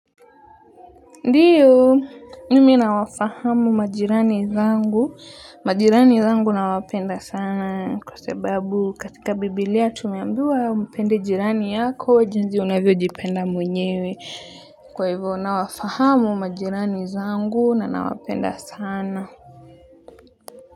Ndiyo, mimi nawafahamu majirani zangu. Majirani zangu nawapenda sana kwa sababu katika Bibilia tumeambiwa mpende jirani yako, jinzi unavyojipenda mwenyewe. Kwa hivyo, nawafahamu majirani zangu na nawapenda sana.